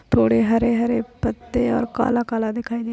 थोड़े हरे हरे पत्ते और काला काला दिखाई दे --